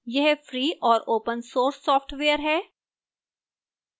यह free और open source software है